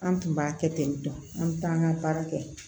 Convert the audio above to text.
An tun b'a kɛ ten tɔn an bɛ taa an ka baara kɛ